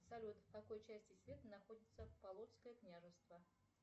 салют в какой части света находится полоцкое княжество